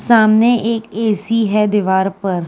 सामने एक ए.सी है दीवार पर।